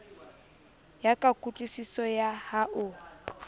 ya ka kutlwisiso ya hao